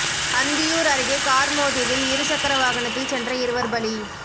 அந்தியூர் அருகே கார் மோதியதில் இருசக்கர வாகனத்தில் சென்ற இருவர் பலி